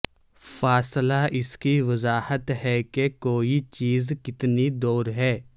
فاصلہ اس کی وضاحت ہے کہ کوئی چیز کتنی دور ہے